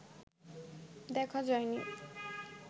দেখা যায়নি